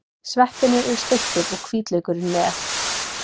Sveppirnir eru steiktir og hvítlaukurinn með.